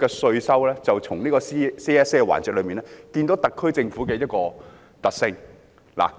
現時，從這個 CSA 辯論環節，便可看出特區政府的一個特性。